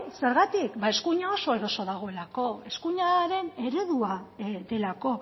zergatik ba eskuina oso eroso dagoelako eskuinaren eredua delako